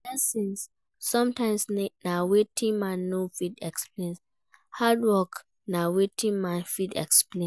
Blessings sometimes na wetin man no fit explain, hard work na wetin man fit explain